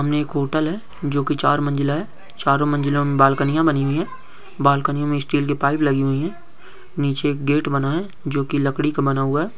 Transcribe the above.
सामने एक होटल है जो की चार मंजिला है चारों मंजिलों में बोल कन्हैया बनी हुई है बालकनी में स्टाल के पाइप लगी हुई है नीचे गेट बनाएं जो की लकड़ी का बना हुआ है।